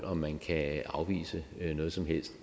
om man kan afvise noget som helst